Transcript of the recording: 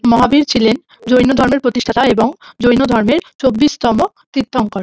মহাবীর ছিলেন জৈন ধর্মের প্রতিষ্ঠাতা এবং জৈন ধর্মের চব্বিশ তম তীর্থঙ্কর ।